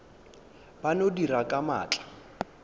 ba no dira ka maatla